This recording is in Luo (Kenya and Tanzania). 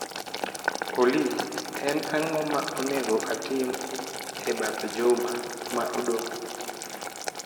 Olly, en ang'o ma onego atim e bath juma ma odong'